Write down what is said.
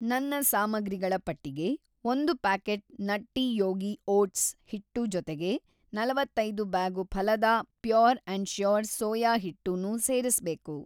ನನ್ನ ಸಾಮಗ್ರಿಗಳ ಪಟ್ಟಿಗೆ ಒಂದು ಪ್ಯಾಕೆಟ್ ನಟ್ಟಿ ಯೋಗಿ ಓಟ್ಸ್‌ ಹಿಟ್ಟು ಜೊತೆಗೆ ನಲವತ್ತೈದು ಬ್ಯಾಗು ಫಾಲದಾ ಪ್ಯೂರ್‌ & ಶ್ಯೂರ್ ಸೋಯಾ ಹಿಟ್ಟು ನೂ ಸೇರಿಸ್ಬೇಕು.